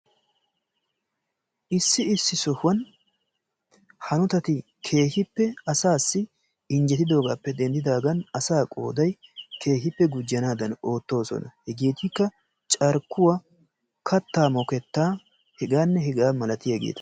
Issi issi sohuwaan hanotatti keehippe asassi injjetidoogappe denddidaagan asaa ooday keehippe gujjanaadan oottoosona. Hegeetikka carkkuwaa kattaa mokettaa hegaanne hegaa malatiyaageta.